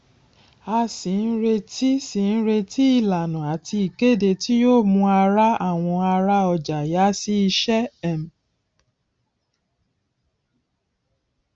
a sì ń retí sì ń retí ìlànà àti ìkéde tí yóò mú ará àwọn ará ọjà yà sí ìṣe um